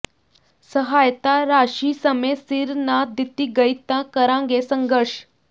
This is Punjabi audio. ਸਹਾਇਤਾ ਰਾਸ਼ੀ ਸਮੇਂ ਸਿਰ ਨਾ ਦਿੱਤੀ ਗਈ ਤਾਂ ਕਰਾਂਗੇ ਸੰਘਰਸ਼